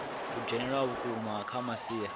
dzhenelela ha vhukuma kha masia